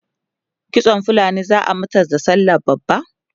kitsan fulani zaa mata da sallah babba?